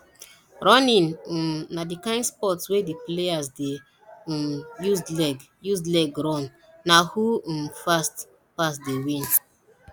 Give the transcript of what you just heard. running um na di kind sport wey di players de um use leg use leg run na who um fast pass dey win